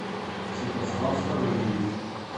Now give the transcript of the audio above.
святослав ставриевич